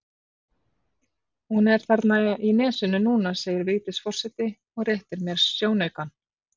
Hún er þarna í nesinu núna segir Vigdís forseti og réttir mér sjónaukann.